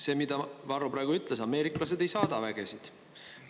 See, mida Varro praegu ütles: ameeriklased ei saada vägesid.